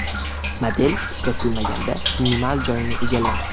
Model ishlatilmaganda minimal joyni egallaydi.